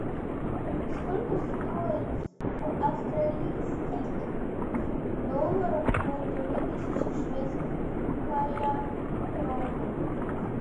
сколько стоит в австралийских долларах полторы тысячи шведская крона